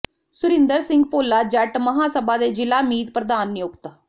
ਸੁਰਿੰਦਰ ਸਿੰਘ ਭੋਲਾ ਜੱਟ ਮਹਾਂ ਸਭਾ ਦੇ ਜ਼ਿਲ੍ਹਾ ਮੀਤ ਪ੍ਰਧਾਨ ਨਿਯੁਕਤ